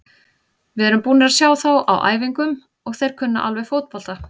Við erum búnir að sjá þá á æfingum og þeir kunna alveg fótbolta.